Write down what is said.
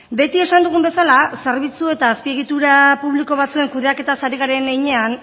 beti esan dugun bezala zerbitzu eta azpiegitura publiko batzuen kudeaketaz ari garen heinean